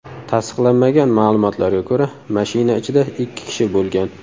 Tasdiqlanmagan ma’lumotlarga ko‘ra, mashina ichida ikki kishi bo‘lgan.